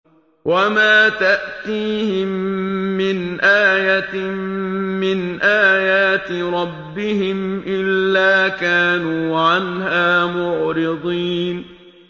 وَمَا تَأْتِيهِم مِّنْ آيَةٍ مِّنْ آيَاتِ رَبِّهِمْ إِلَّا كَانُوا عَنْهَا مُعْرِضِينَ